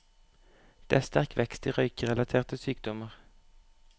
Det er sterk vekst i røykerelaterte sykdommer.